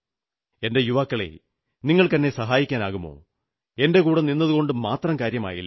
എന്റെ യുവാക്കളേ നിങ്ങൾക്കെന്നെ സഹായിക്കാനാകുമോ എന്റെ കൂടെ നിന്നതുകൊണ്ടു മാത്രം കാര്യമായില്ല